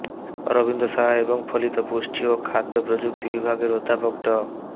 অরবিন্দ সাহা এবং ফলিত পুষ্টি ও খাদ্য প্রযুক্তি বিভাগের অধ্যাপক ড